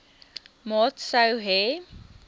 maat sou hê